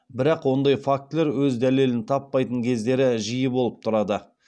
бірақ ондай фактілер өз дәлелін таппайтын кездері жиі болып тұрады